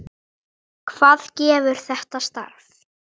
Hvað gefur þetta starf?